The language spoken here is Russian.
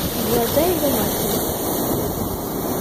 глаза его матери